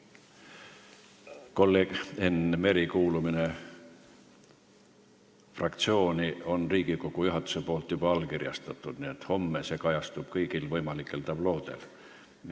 Kolleeg Enn Mere kuulumise fraktsiooni on Riigikogu juhatus juba allkirjastanud, nii et homme see kajastub kõigil võimalikel tabloodel.